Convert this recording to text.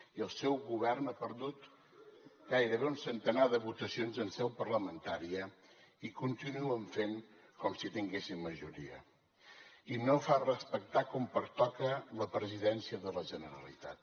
i el seu govern ha perdut gairebé un centenar de votacions en seu parlamentària i continuen fent com si tinguessin majoria i no fan respectar com pertoca la presidència de la generalitat